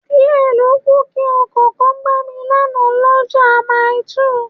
Díẹ̀ lókù kí Ọkọ̀ kan gbá mi lánàá l'ọ́ja Maili2